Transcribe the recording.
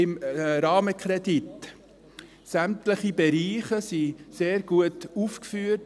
Beim Rahmenkredit sind sämtliche Bereiche sehr gut aufgeführt.